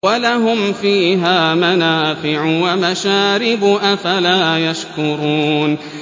وَلَهُمْ فِيهَا مَنَافِعُ وَمَشَارِبُ ۖ أَفَلَا يَشْكُرُونَ